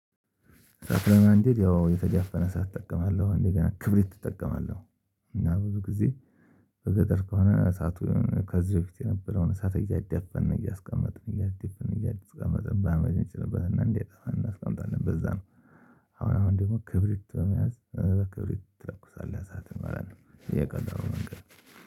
እሳት ለማንደድ ያው የተዳፈነ እሳአት እጠቀማለሁ እንደገና ክብሪት እጠቀማለሁ። እና ብዙ ጊዜ። በገጠር ከሆነ እሳቱ ከዚህ በፊት የነበረውን እሳት እያዳፈን እያስቀመጥን እያዳፈን እያስቀመጥን በአመድ እንጭንበትና እንዳይጠፋ እናስቀምጣለን በዛ ነው። አሁን አሁን ደግሞ ክብሪት በመያዝ ክብሪት ትለኩሳለህ እሳት ይሆናል። እየቀዳው ነገር